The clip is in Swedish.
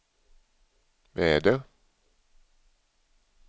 väder